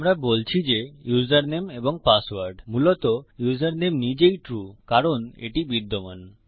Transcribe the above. আমরা বলছি যে ইউসারনেম এবং পাসওয়ার্ড মূলত ইউসারনেম নিজেই ট্রু কারণ এটি বিদ্যমান